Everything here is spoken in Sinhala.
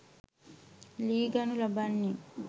ලී ගනු ලබන්නේ